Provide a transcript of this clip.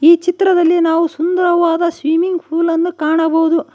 ಈ ಚಿತ್ರದಲ್ಲಿ ನಾವು ಸುಂದರವಾದ ಸ್ವಿಮ್ಮಿಂಗ್ ಪೂಲ್ ಅನ್ನು ಕಾಣಬಹುದು.